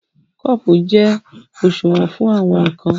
Kọ́ọ̀pù jẹ́ òṣùwọ̀n fún àwọn ǹkan